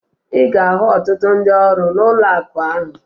Ị ga-ahụ ọtụtụ ndị ọrụ n'ụlọakụ ahụ